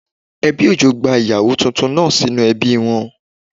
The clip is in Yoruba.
Ẹbí Òjó gba ìyàwó titun náà sínú ebí wọn